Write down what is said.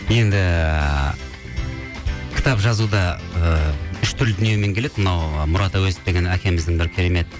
енді кітап жазу да ыыы үш түрлі дүниемен келеді мынау мұрат әуезов деген әкеміздің бір керемет